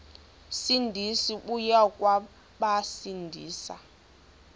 sindisi uya kubasindisa